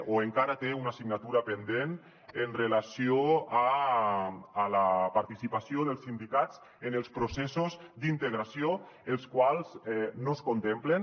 o encara té una assignatura pendent amb relació a la participació dels sindicats en els processos d’integració els quals no es contemplen